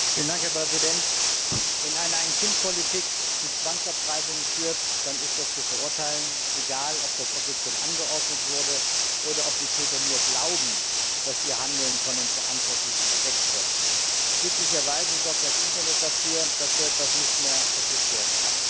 Herr Präsident! Wenn eine Ein Kind Politik zu Zwangsabtreibung führt, dann ist das zu verurteilen, egal, ob das offiziell angeordnet wurde oder ob die Täter nur glauben, dass ihr Handeln von den Verantwortlichen gedeckt wird. Glücklicherweise sorgt das Internet dafür, dass so etwas nicht mehr vertuscht werden kann.